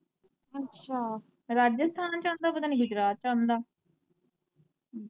ਅੱਛਾ, ਰਾਜਿਸਥਾਨ ਚ ਆਂਦਾ, ਪਤਾ ਨੀ ਗੁਜਰਾਤ ਚ ਆਂਦਾ।